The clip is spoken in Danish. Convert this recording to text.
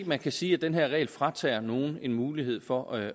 man kan sige at den her regel fratager nogen muligheden for at